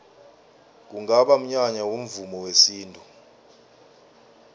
kungaba mnyanya womvumo wesintu